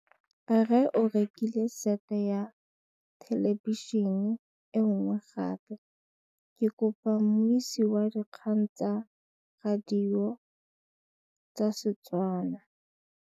Rre o rekile sete ya thêlêbišênê e nngwe gape. Ke kopane mmuisi w dikgang tsa radio tsa Setswana.